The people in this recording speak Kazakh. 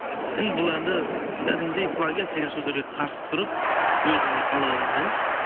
енді бұл әнді кәдімгідей плагиат деген сөздерге қарсы тұрып өзімнің қалауыммен